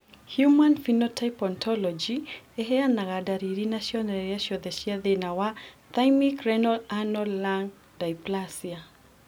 Human Phenotype Ontology ĩheanaga ndariri na cionereria ciothe cia thĩna wa Thymic Renal Anal Lung dysplasia.